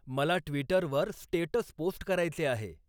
मला ट्वीटर वर status post करायचे आहे